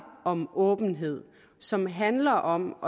om åbenhed som handler om